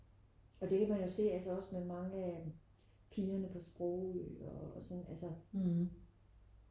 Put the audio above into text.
Og det kan man jo se altså også med mange pigerne på sprogø og sådan altså